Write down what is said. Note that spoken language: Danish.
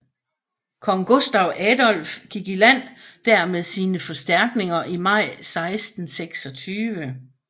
Kong Gustav Adolf gik i land der med sine forstærkninger i maj 1626